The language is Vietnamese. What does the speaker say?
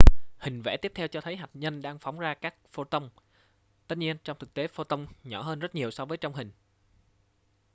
hình vẽ tiếp theo cho thấy hạt nhân đang phóng ra các photon tất nhiên trong thực tế photon nhỏ hơn rất nhiều so với trong hình